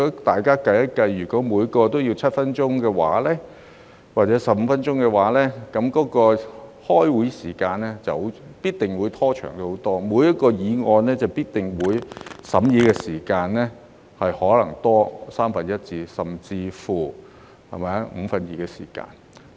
大家可以計算一下，如果每人有7分鐘或15分鐘發言時間的話，這樣，開會時間必定會拖長很多，每項議案的審議時間可能會多三分之一甚至五分之二。